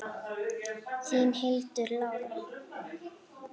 Þín, Hildur Lára.